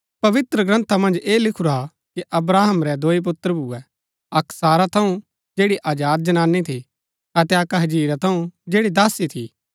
पवित्रग्रन्था मन्ज ऐह लिखुरा हा कि अब्राहम रै दोई पुत्र भूए अक्क सारा थऊँ जैड़ी आजाद जनानी थी अतै अक्क हाजिरा थऊँ जैड़ी दासी थी